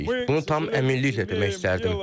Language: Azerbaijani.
Bunu tam əminliklə demək istərdim.